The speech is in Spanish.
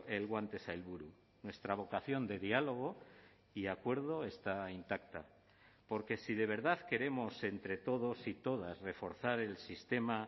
el guante sailburu nuestra vocación de diálogo y acuerdo está intacta porque si de verdad queremos entre todos y todas reforzar el sistema